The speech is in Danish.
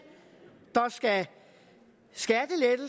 og